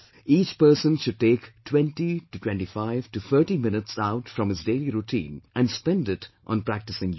Each person should take 202530 minutes out from his daily routine and spend it on practicing Yog